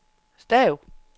stav